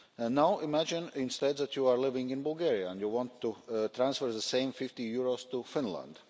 Now, imagine instead that you are living in Bulgaria and you want to transfer the same EUR 50 to Finland.